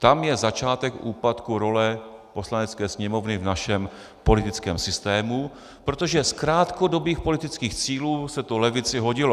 Tam je začátek úpadku role Poslanecké sněmovny v našem politickém systému, protože z krátkodobých politických cílů se to levici hodilo.